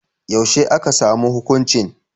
Yaushe aka samu hukuncin?